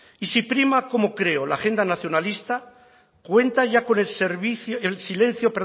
y si prima como creo la agenda nacionalista cuenta ya con el servicio el silencio